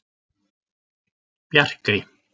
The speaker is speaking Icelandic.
Bjarkey